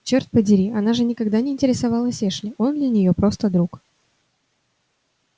чёрт подери она же никогда не интересовалась эшли он для неё просто друг